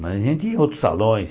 Mas a gente outros salões.